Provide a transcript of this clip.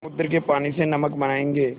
समुद्र के पानी से नमक बनायेंगे